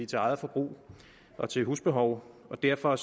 til eget forbrug og til husbehov og derfor